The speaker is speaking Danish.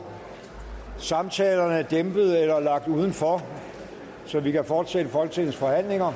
samtalerne dæmpet eller lagt udenfor så vi kan fortsætte folketingets forhandlinger